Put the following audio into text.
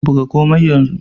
Buga komai yanzu